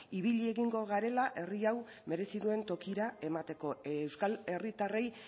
ibili egingo garela herri hau merezi duen tokira emateko euskal herritarrei